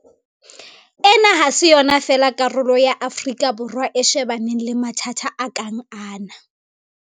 Ena ha se yona fela karolo ya Afrika Borwa e shebaneng le mathata a kang ana.